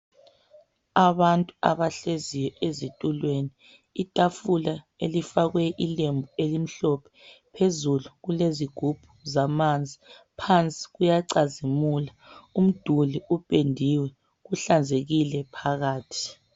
Abantu abahleziyo ezitulweni itafula elifakwe ilembu elimhlophe phezulu kulezigubhu zamanzi phansi kuyacazimula umduli upendiwe kuhlanzekile phakathi.